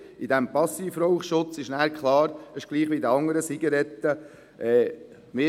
Gemäss dem Passivraucherschutz ist anschliessend klar, dass dies gleich wie bei den anderen Zigaretten gehandhabt wird.